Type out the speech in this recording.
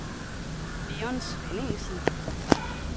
Leon Svenningsen